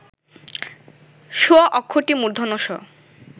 ষ অক্ষরটি মূর্ধন্য ষ